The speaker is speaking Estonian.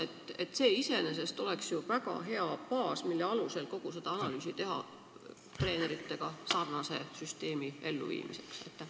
Aga kas see iseenesest ei oleks väga hea baas, mille alusel kogu seda analüüsi teha, et juurutada treenerite tasustamise süsteemiga sarnane süsteem?